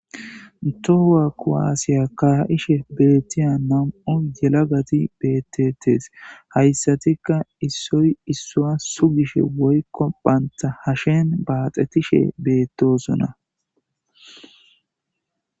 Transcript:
Tohuwa koaasiya kaha'ishe beettiya nam'o yelagati bettetees hayssatikka issoy issua sugishe woykko baynta hashen baaxetishe beettosona.